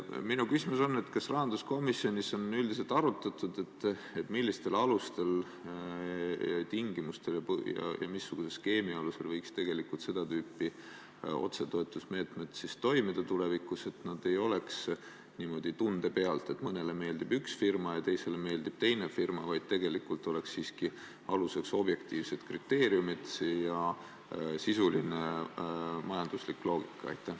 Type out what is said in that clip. Minu küsimus on selline: kas rahanduskomisjonis on üldiselt arutatud, millistel tingimustel ja missuguse skeemi alusel võiks tegelikult seda tüüpi otsetoetusmeetmed tulevikus toimida, et nad ei tuleks niimoodi tunde pealt – ühele meeldib üks firma ja teisele meeldib teine firma –, vaid et aluseks oleksid siiski objektiivsed kriteeriumid ja sisuline majanduslik loogika?